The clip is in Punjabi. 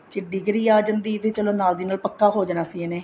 ਡਿਗਰੀ ਆ ਜਾਂਦੀ ਤਾਂ ਚਲੋ ਨਾਲ ਦੀ ਨਾਲ ਪੱਕਾ ਹੋ ਜਾਣਾ ਸੀ ਇਹਨੇ